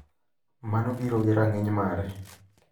Mano biro gi rang’iny mare.